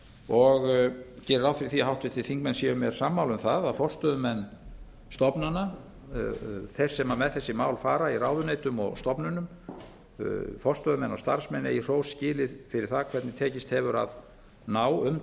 og geri ráð fyrir því að háttvirtir þingmenn séu mér sammála um að forstöðumenn stofnana þeir sem með þessi mál fara í ráðuneytum og stofnunum forstöðumenn og starfsmenn eigi hrós skilið fyrir það hvernig tekist hefur að ná